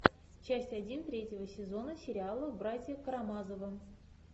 часть один третьего сезона сериала братья карамазовы